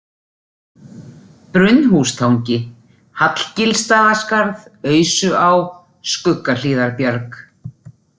Brunnhústangi, Hallgilsstaðaskarð, Ausuá, Skuggahlíðarbjarg